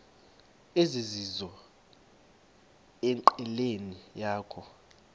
ezizizo enqileni yakho